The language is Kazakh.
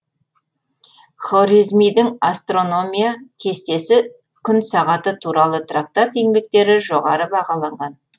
хорезмидің астрономия кестесі күн сағаты туралы трактат еңбектері жоғары бағаланған